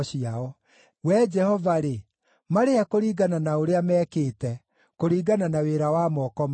Wee Jehova-rĩ, marĩhe kũringana na ũrĩa mekĩte, kũringana na wĩra wa moko mao.